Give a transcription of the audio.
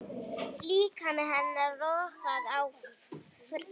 Líkami hennar logaði af þrá.